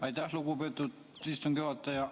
Aitäh, lugupeetud istungi juhataja!